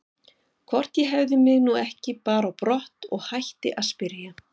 Hvort ég hefði mig nú ekki bara á brott og hætti að spyrja.